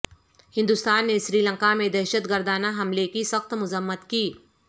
ہندوستان نے سری لنکا میں دہشت گردانہ حملے کی سخت مذمت کی